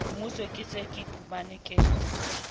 moso ke se iphumane ke